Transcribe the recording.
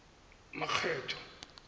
makgetho